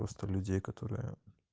просто людей которые